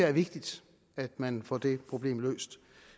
er vigtigt at man får det problem løst